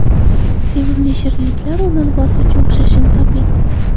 Sevimli shirinliklar o‘rnini bosuvchi o‘xshashini toping.